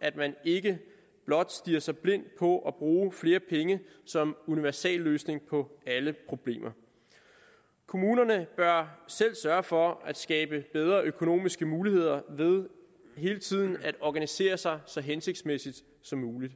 at man ikke blot stirrer sig blind på at bruge flere penge som universalløsning på alle problemer kommunerne bør selv sørge for at skabe bedre økonomiske muligheder ved hele tiden at organisere sig så hensigtsmæssigt som muligt